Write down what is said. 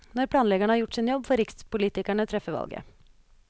Når planleggerne har gjort sin jobb, får rikspolitikerne treffe valget.